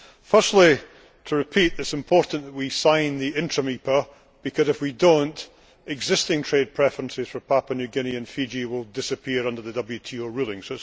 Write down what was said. Firstly, to repeat, it is important that we sign the interim EPA because, if we do not, existing trade preferences for Papua New Guinea and Fiji will disappear, under the WTO ruling.